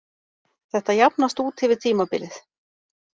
Þetta jafnast út yfir tímabilið.